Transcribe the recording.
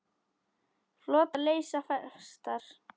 Flotar leysa festar.